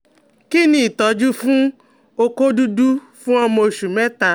Kí ni ìtọ́jú fún oko dudu fun ọmọ oṣù mẹ́ta?